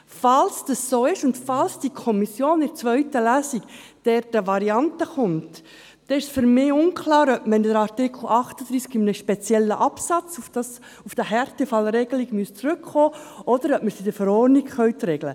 Falls dem so ist und falls die Kommission in der zweiten Lesung mit einer Variante kommt, ist für mich unklar, ob wir in einem speziellen Absatz unter Artikel 38 auf die Härtefallregelung zurückkommen müssen oder ob wir dies in der Verordnung regeln können.